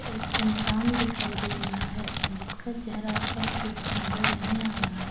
एक इंसान दिखाई दे रहा है जिसका चेहरा स्पष्ट रूप से नजर नहीं आ रहा--